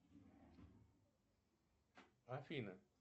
афина